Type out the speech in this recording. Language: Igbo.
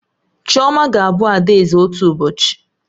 Chioma ga-abụ adaeze otu ụbọchị